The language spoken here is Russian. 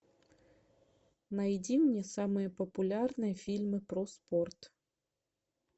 найди мне самые популярные фильмы про спорт